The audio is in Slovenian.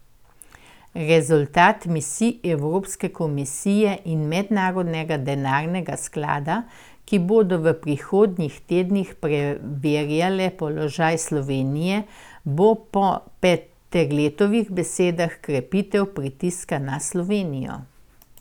Rezultat misij Evropske komisije in Mednarodnega denarnega sklada, ki bodo v prihodnjih tednih preverjale položaj Slovenije, bo po Peterletovih besedah krepitev pritiska na Slovenijo.